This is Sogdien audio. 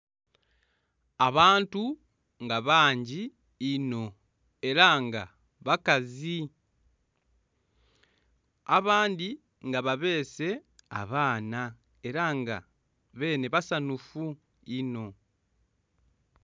Abantu nga bangi inho era nga bakazi abandhi nga babese abaana era nga benhe basanhufu inho.